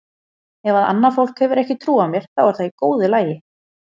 Ef að annað fólk hefur ekki trú á mér þá er það í góðu lagi.